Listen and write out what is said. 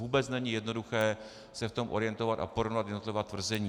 Vůbec není jednoduché se v tom orientovat a porovnat jednotlivá tvrzení.